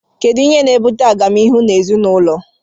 Kedụ ihe na - ebụte agamnihụ n' ezịnaụlọ?